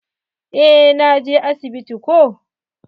Eh na je asibiti ko.